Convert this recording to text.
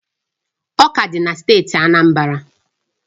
Ọka dị na steeti Anambra